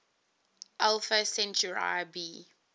alpha centauri b